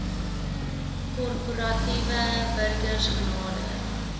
korporatiewe burgers genader